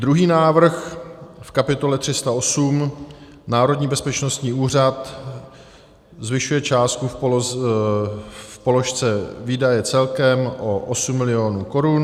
Druhý návrh v kapitole 308 Národní bezpečnostní úřad zvyšuje částku v položce výdaje celkem o 8 mil. korun.